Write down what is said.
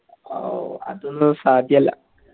ഔ അതൊന്നും സാധ്യല്ല